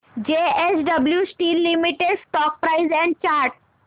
JSW steel limited stock price and chart